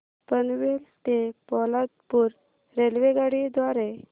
पनवेल ते पोलादपूर रेल्वेगाडी द्वारे